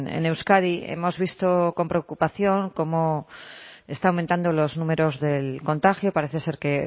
en euskadi hemos visto con preocupación cómo están aumentando los números del contagio parece ser que